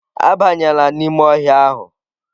Abanyela n'ime ọhịa ahụ!